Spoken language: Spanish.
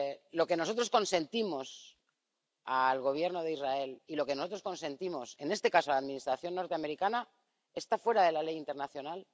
Lo que nosotros consentimos al Gobierno de Israel y lo que nosotros consentimos en este caso a la Administración norteamericana está fuera de la ley internacional.